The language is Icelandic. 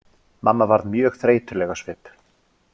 Mamma varð mjög þreytuleg á svip.